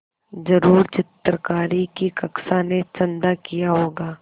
ज़रूर चित्रकारी की कक्षा ने चंदा किया होगा